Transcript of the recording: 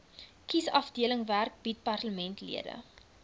kiesafdelingwerk bied parlementslede